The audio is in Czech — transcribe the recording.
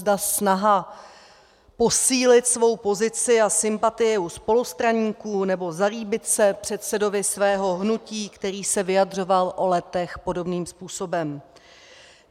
Zda snaha posílit svou pozici a sympatii u spolustraníků nebo zalíbit se předsedovi svého hnutí, který se vyjadřoval o Letech podobným způsobem.